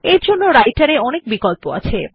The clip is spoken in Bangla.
এরজন্য রাইটের এ অনেক বিকল্প আছে